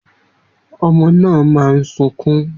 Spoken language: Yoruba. Omo na ma sunkun.